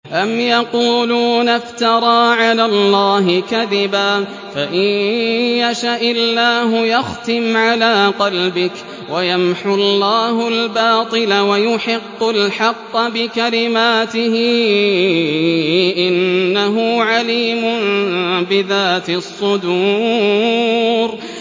أَمْ يَقُولُونَ افْتَرَىٰ عَلَى اللَّهِ كَذِبًا ۖ فَإِن يَشَإِ اللَّهُ يَخْتِمْ عَلَىٰ قَلْبِكَ ۗ وَيَمْحُ اللَّهُ الْبَاطِلَ وَيُحِقُّ الْحَقَّ بِكَلِمَاتِهِ ۚ إِنَّهُ عَلِيمٌ بِذَاتِ الصُّدُورِ